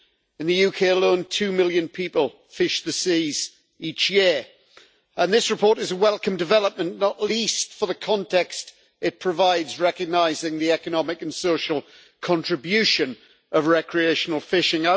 In the UK alone, two million people fish the seas each year, and this report is a welcome development, not least for the context it provides recognising the economic and social contribution of recreational fishing.